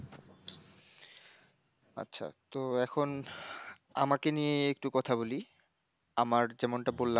আচ্ছা, তো এখন আমাকে নিয়ে একটু কথা বলি, আমার যেমনটা বললাম।